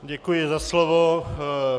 Děkuji za slovo.